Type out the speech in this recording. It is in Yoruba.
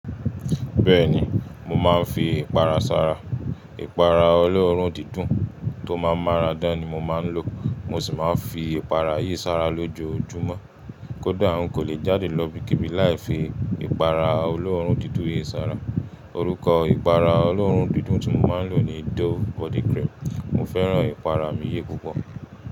Bẹ́ẹ̀ni, mo máa ń fi ìpara sára. Ìpara olóòórùn dídùn tó máa ń márà dán ni mo máa ń lò. Mo sì máa ń fi ìpara yìí sára lójoojúmọ́. Kódà n kò lè jáde lọ ibikíbi láì fi ìpara olóórùn dídùn yìí sára. Orúkọ ìpara olóórùn dídùn tí mo máa ń lò ni Dove body cream. Mo fẹ́ràn ìpara mi yìí púpọ̀.